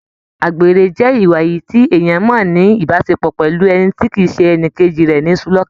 Àgbèrè jẹ ìwà èyí tí èèyàn mọ n ni ìbáṣepọ̀ pẹlú ẹni tí kìí ṣe ẹnìkejì rẹ nisulọ̀ka.